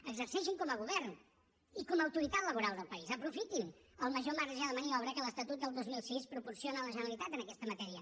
exerceixin com a govern i com a autoritat laboral del país aprofitin el major marge de maniobra que l’estatut del dos mil sis proporciona a la generalitat en aquesta matèria